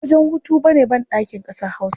Ba wajen hutu ba ne banɗaki ƙasar Hausa.